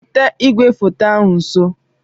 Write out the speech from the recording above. Weta igwefoto ahụ nso.